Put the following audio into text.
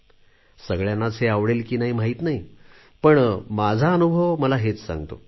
सगळ्यांनाच हे आवडेल की नाही माहीत नाही पण माझा अनुभव मला हेच सांगतो